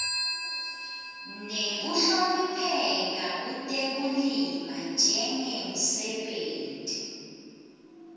nekuhlonipheka kutekulima njengemsebenti